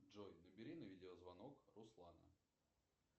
джой набери на видеозвонок руслана